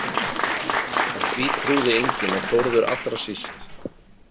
En því trúði enginn og Þórður allra síst.